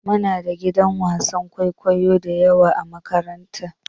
Muna da gidan wasan kwaikwayo dayawa a makaranta.